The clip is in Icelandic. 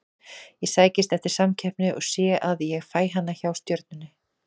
Ég sækist eftir samkeppni og sé að ég fæ hana hjá Stjörnunni.